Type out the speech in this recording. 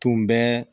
Tun bɛ